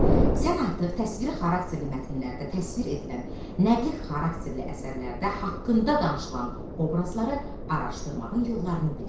Sən artıq təsviri xarakterli mətnlərdə təsvir edilən, nəqli xarakterli əsərlərdə haqqında danışılan obrazları araşdırmağın yollarını bilirsən.